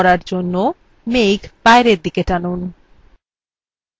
এই তীর কে arrow বড় করার জন্য প্রথমে to নির্বাচন করুন